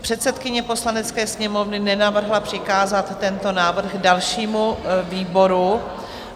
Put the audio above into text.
Předsedkyně Poslanecké sněmovny nenavrhla přikázat tento návrh dalšímu výboru.